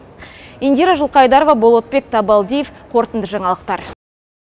индира жылқайдарова болатбек табалдиев қорытынды жаңалықтар